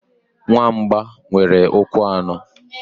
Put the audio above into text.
Nwamba nwere ụkwụ anọ.